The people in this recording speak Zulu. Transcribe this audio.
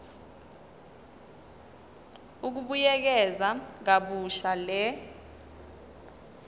ukubuyekeza kabusha le